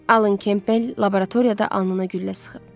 Allan Kempell laboratoriyada anlına güllə sıxıb.